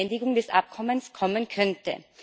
Beendigung des Abkommens kommen könnte.